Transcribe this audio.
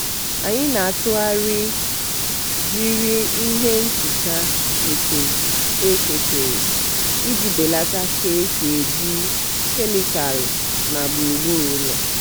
anyị na-atụgharị jiri ihe nhicha nke eke kere iji belata ka e si eji kemịkalụ na gburugburu ụlọ.